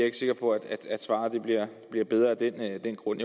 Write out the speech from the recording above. ikke sikker på at svaret bliver bedre af den grund